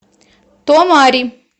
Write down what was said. томари